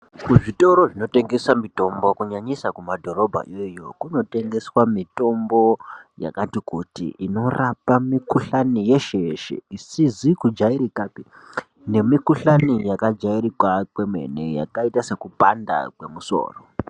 Kuzvitoro zvinotengesa mitombo, kunyanyisa kumadhorobha iyoyo, kunotengeswa mitombo yakati kuti inorapa mikhuhlane yeshe yeshe, isizikujayirikape, nemikhuhlane yakajayirika kwemene, yakayita sekupanda kwemusoro.